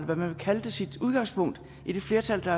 man vil kalde det sit udgangspunkt i det flertal